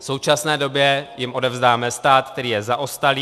V současné době jim odevzdáme stát, který je zaostalý.